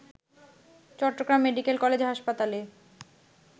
Chittagong medical college হাসপাতালে